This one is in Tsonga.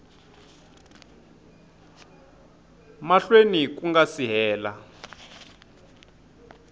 mahlweni ku nga si hela